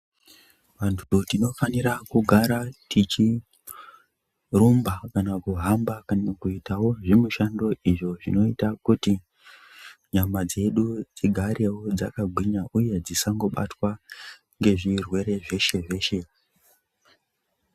Vantu tinofanira kugara tichirumba kana kuhamba kana kuitawo zvimishando izvo zvinoitawo kuti nyama dzedu dzigarewo dzaka gwinya uye dzisango batwa nge zvirwere zveshe zveshe.